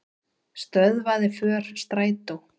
Stöðvaði för strætó